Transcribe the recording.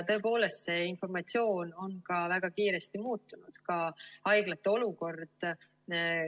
See informatsioon on väga kiiresti muutunud, ka haiglate olukord.